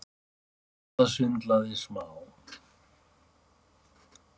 Ásta svindlaði smá